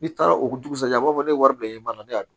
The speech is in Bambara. N'i taara o dugusajɛ a b'a fɔ ne wari bila i ma ne y'a dun